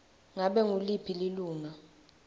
ngabe nguliphi lilunga